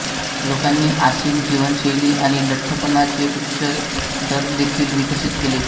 लोकांनी आसीन जीवनशैली आणि लठ्ठपणाचे उच्च दर देखील विकसित केले